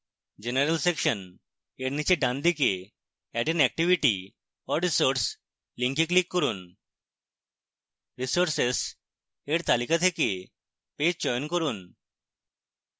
general section এর নীচে ডানদিকে add an activity or resource link click করুন